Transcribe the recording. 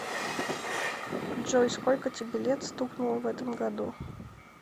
джой сколько тебе лет стукнуло в этом году